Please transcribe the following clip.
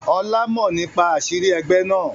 Ọlá mọ nípa àṣírí ẹgbẹ́ náà.